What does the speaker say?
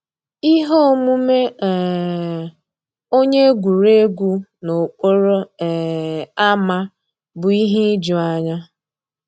Íhé òmùmé um ónyé égwurégwu n'òkpòró um ámá bụ́ íhé ìjùányá.